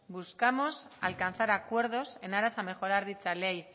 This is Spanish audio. buscamos alcanzar acuerdos en aras a mejorar dicha ley